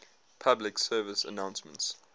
public service announcements